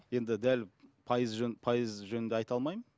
енді дәл пайызы пайызы жөнінде айта алмаймын